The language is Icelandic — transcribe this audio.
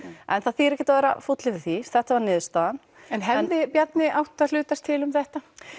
en það þýðir ekki að vera fúll yfir því þetta var niðurstaðan hefði Bjarni átt að hlutast til um þetta